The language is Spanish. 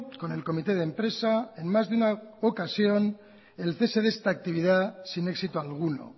con el comité de empresa en más de una ocasión el cese de esta actividad sin éxito alguno